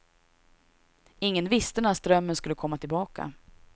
Ingen visste när strömmen skulle komma tillbaka.